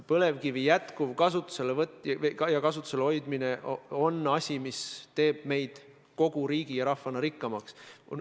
Põlevkivi jätkuv kasutuselevõtt ja kasutuses hoidmine on asi, mis teeb meid kogu riigi ja rahvana rikkamaks.